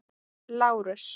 Lárus